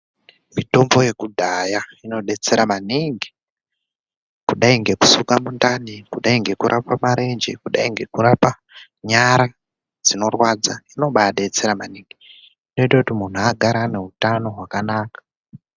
Mitombo yekudhaya inodetsera maningi kudai nekusuka mundani, kudai ngekurapa marenje, kudai ngekurapa nyara dzinorwadza inobadetsera maningi. Inoita kuti muntu agare ane hutano hwakanaka.